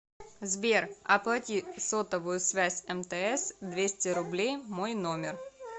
сбер оплати сотовую связь мтс двести рублей мой номер